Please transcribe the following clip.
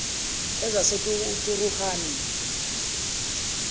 ezaseturuhani